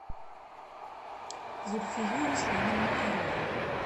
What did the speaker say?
зульфию руслановну коровину